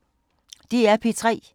DR P3